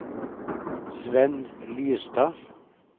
Svenn Lystad